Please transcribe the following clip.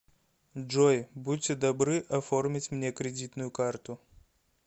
джой будьте добры оформить мне кредитную карту